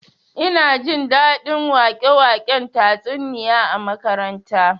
Ina jin daɗin wake-waken tatsuniya a makaranta